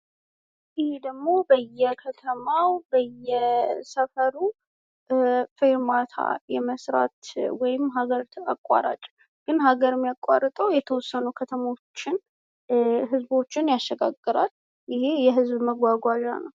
ይህ ደሞ በየከተማው ፥ በየሰፈሩ ፌርማታ የመስራት ወይም ሀገር አቋራጭ ግን ሀገር የሚያቋርጠው የተወሰኑ ከተሞችን።፥ የተወሰኑ ዝቦችን ያሸጋግራል ፤ ይህ የህዝብ ማጓጓዣ ነው።